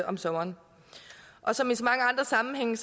om sommeren og som i så mange andre sammenhænge